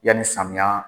Yanni samiya